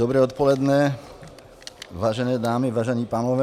Dobré odpoledne, vážené dámy, vážení pánové -